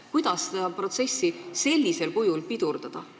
Kuidas seda protsessi sellisel kujul pidurdada?